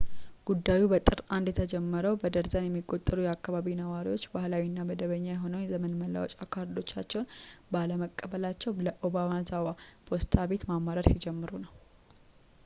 ጉዳዩ በጥር 1 የተጀመረው በደርዘን የሚቆጠሩ የአከባቢው ነዋሪዎች ባህላዊ እና መደበኛ የሆነውን የዘመን መለወጫ ካርዶቻቸውን ባለመቀበላቸው ለobanazawa ፖስታ ቤት ማማረር ሲጀምሩ ነው